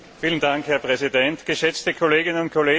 Herr Präsident, geschätzte Kolleginnen und Kollegen!